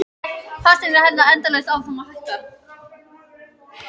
Fasteignaverð heldur endalaust áfram að hækka.